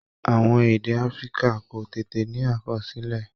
Àwọn èdè Africa kò tètè ní àkọsílẹ̀